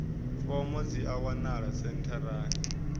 fomo dzi a wanalea sentharani